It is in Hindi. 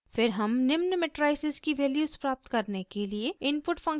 फिर हम निम्न मेट्राइसिस की वैल्यूज़ प्राप्त करने के लिए इनपुट फंक्शन उपयोग करते हैं